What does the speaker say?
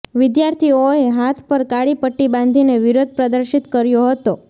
વિદ્યાર્થીઓએ હાથ પર કાળી પટ્ટી બાંધીને વિરોધ પ્રદર્શિત કર્યો હતો